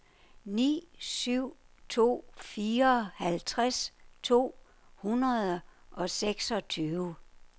ni syv to fire halvtreds to hundrede og seksogtyve